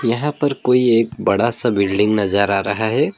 यहां पर कोई एक बड़ा सा बिल्डिंग नजर आ रहा है।